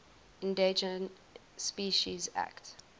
endangered species act